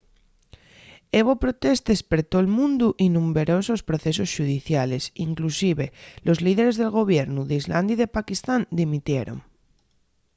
hebo protestes per tol mundu y numberosos procesos xudiciales inclusive los líderes del gobiernu d'islandia y de pakistán dimitieron